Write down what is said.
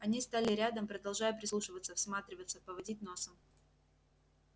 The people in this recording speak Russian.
они стали рядом продолжая прислушиваться всматриваться поводить носом